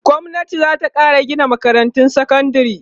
gwamnati zata Kara Gina makarantun sekandari